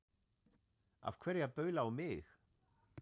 Af hverju að baula á mig?